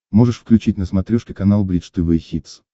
можешь включить на смотрешке канал бридж тв хитс